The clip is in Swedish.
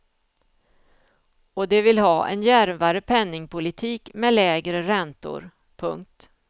Och de vill ha en djärvare penningpolitik med lägre räntor. punkt